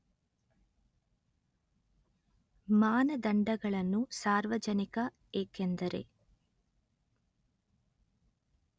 ಮಾನದಂಡಗಳನ್ನು ಸಾರ್ವಜನಿಕ ಏಕೆಂದರೆ